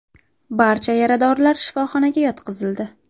Barcha yaradorlar shifoxonaga yotqizildi.